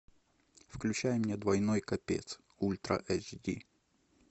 включай мне двойной капец ультра эйч ди